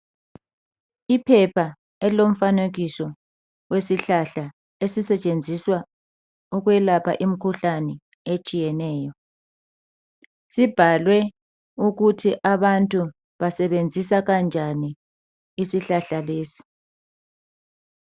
Iphepha elilomfanekiso wesihlahla esisetshenziswa ukwelapha imkhuhlane etshiyeneyo .Sibhaliwe ukuthi abantu basebenzisa kanjani isihlahla lesi.